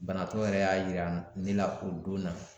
Banabaatɔ yɛrɛ y'a yira ne la o don na